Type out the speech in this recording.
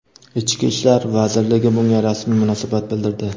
Ichki ishlar vazirligi bunga rasmiy munosabat bildirdi.